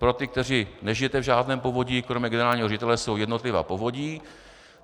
Pro ty, kteří nežijete v žádném povodí, kromě generálního ředitele jsou jednotlivá povodí.